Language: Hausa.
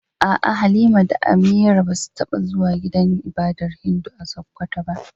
A'a Halima da Amira basu taba zuwa gidan ibadar Hindu a Sokoto ba.